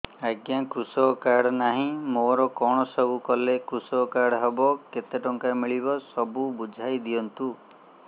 ଆଜ୍ଞା କୃଷକ କାର୍ଡ ନାହିଁ ମୋର କଣ ସବୁ କଲେ କୃଷକ କାର୍ଡ ହବ କେତେ ଟଙ୍କା ମିଳିବ ସବୁ ବୁଝାଇଦିଅନ୍ତୁ